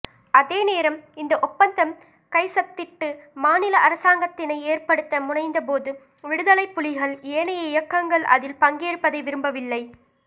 அதேநேரம் இந்த ஒப்பந்தம் கைச்சத்திட்டு மாநில அரசாங்கத்தினை ஏற்படுத்த முனைந்தபோது விடுதலைப்புலிகள் ஏனைய இயங்கங்கள் அதில் பங்கேற்பதை விரும்பவில்லை